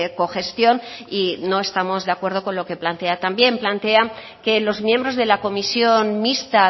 cogestión y no estamos de acuerdo con lo que plantea también plantea que los miembros de la comisión mixta